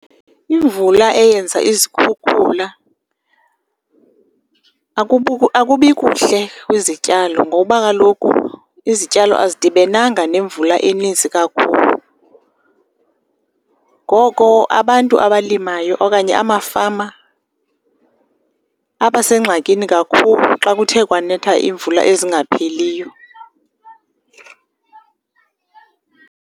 Imvula eyenza izikhukhula akubikuhle kwizityalo ngoba kaloku izityalo azidibenanga nemvula eninzi kakhulu. Ngoko abantu abalimayo okanye amafama abasengxakini kakhulu xa kuthe kwanetha iimvula ezingapheliyo.